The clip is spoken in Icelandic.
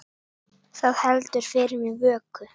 Það heldur fyrir mér vöku.